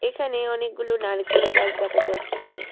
এখানে অনেকগুলো নারকেল গাছ দেখা যাচ্ছে।